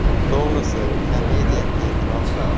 To‘g‘risi komediya qiyinroq.